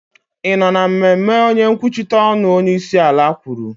ị nọ na mmemme onye nkwuchite ọnụ onyeisiala kwuru?